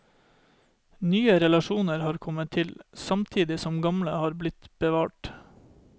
Nye relasjoner har kommet til, samtidig som gamle har blitt bevart.